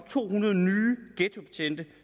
to hundrede nye ghettobetjente